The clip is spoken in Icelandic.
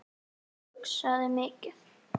Og hugsaði mikið.